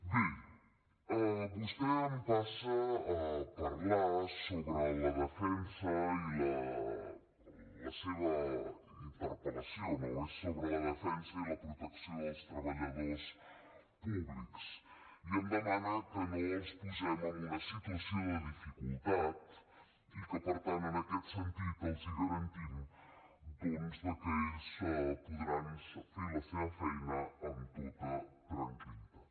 bé vostè em passa a parlar sobre la defensa i la seva interpel·lació no és sobre la defensa i la protecció dels treballadors públics i em demana que no els posem en una situació de dificultat i que per tant en aquest sentit els garantim doncs que ells podran fer la seva feina amb tota tranquil·litat